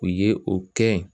U ye o kɛ yen